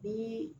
Ni